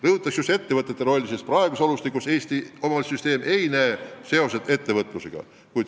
Rõhutan just ettevõtjate rolli, sest praeguses olustikus ei näe Eesti omavalitsuste süsteem seoseid ettevõtlusega.